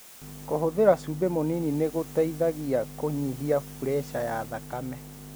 Kũhũthira cumbi mũnini nĩ gũteithagia kũnyihia pureca ya thakame.